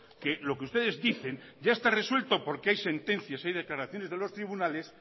que lo que ustedes dicen ya está resuelto porque hay sentencias hay declaraciones de los tribunales